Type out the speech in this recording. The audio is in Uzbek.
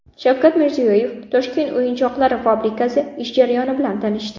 Shavkat Mirziyoyev Toshkent o‘yinchoqlari fabrikasi ish jarayoni bilan tanishdi .